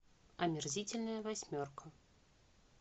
омерзительная восьмерка